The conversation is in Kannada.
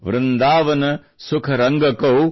ವೃಂದಾವನ್ ಸುಖ ರಂಗಕೌ